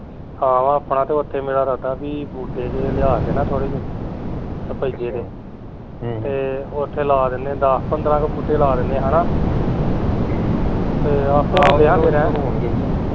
ਆਹੋ ਆਪਣਾ ਤੇ ਓਥੇ ਮੇਰਾ ਇਰਾਦਾ ਵੀ ਬੂਟੇ ਜਹੇ ਲਿਆ ਕੇ ਨਾ ਥੋੜੇ ਜਹੇ ਸਫ਼ੈਦੇ ਦੇ, ਤੇ ਓਥੇ ਲਾ ਦਿਨੇ ਦਸ ਪੰਦਰਾਂ ਕੁ ਬੂਟੇ ਲਾ ਦਿਨੇ ਹੈਨਾ ਤੇ ਆਪਾਂ